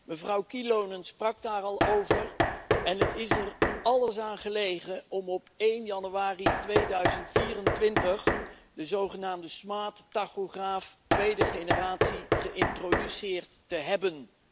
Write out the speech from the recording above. Mevrouw Kyllönen sprak daar al over en het is er alles aan gelegen om op 1 januari 2024 de zogenaamde slimme tachograaf tweede generatie geïntroduceerd te hebben.